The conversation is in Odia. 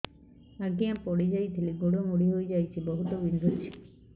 ଆଜ୍ଞା ପଡିଯାଇଥିଲି ଗୋଡ଼ ମୋଡ଼ି ହାଇଯାଇଛି ବହୁତ ବିନ୍ଧୁଛି